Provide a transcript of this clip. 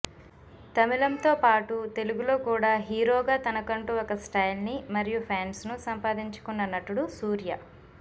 తమిళం తోపాటు తెలుగులో కూడా హీరోగా తనకంటూ ఒక స్టైల్ ని మరియు ఫ్యాన్స్ ను సంపాదించుకున్న నటుడు సూర్య